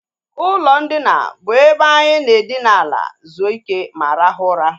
Ụlọ ndina bụ ebe anyị na edina ala zuo ike ma rahụ ụra